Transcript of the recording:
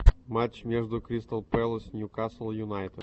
матч между кристал пэлас ньюкасл юнайтед